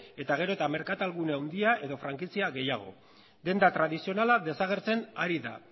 eta gero eta merkatalgune handia edo frankizia gehiago denda tradizionala desagertzen ari da